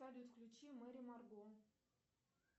салют включи мери марго